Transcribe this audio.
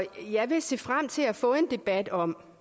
jeg vil se frem til at få en debat om